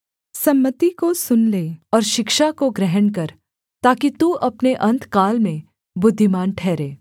सम्मति को सुन ले और शिक्षा को ग्रहण कर ताकि तू अपने अन्तकाल में बुद्धिमान ठहरे